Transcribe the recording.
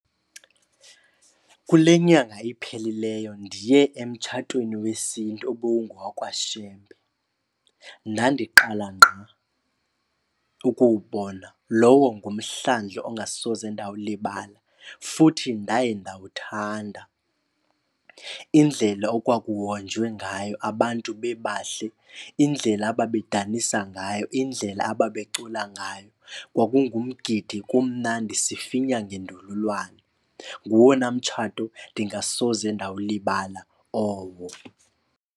Kule nyanga iphelileyo ndiye emtshatweni wesiNtu ubungowakwaShembe. Ndandiqala ngqa ukuwubona. Lowo ngumhlandlo ongasoze ndawulibala futhi ndaye ndawuthanda. Indlela okwakuhonjwe ngayo, abantu bebahle, indlela ababedanisa ngayo, indlela ababecula ngayo. Kwakungumgidi kumnandi, sifinya ngendololwane. Nguwona mtshato ndingasoze ndawulibala owo.